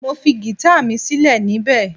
Mo fi gita mi silẹ nibẹ